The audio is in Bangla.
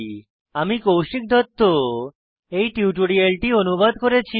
আমি কৌশিক দত্ত এই টিউটোরিয়ালটি অনুবাদ করেছি